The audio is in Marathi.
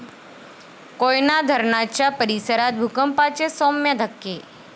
कोयना धरणाच्या परिसरात भूकंपाचे सौम्य धक्के